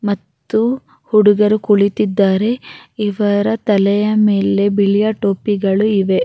ಮತ್ತು ಹುಡುಗರು ಕುಳಿತಿದ್ದಾರೆ ಇವರ ತಲೆಯ ಮೇಲೆ ಬಿಳಿಯ ಟೋಪಿಗಳು ಇವೆ